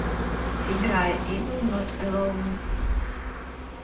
играй эвил нот элон